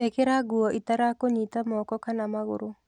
Ĩkĩra nguo itarakũnyita moko kana magũru.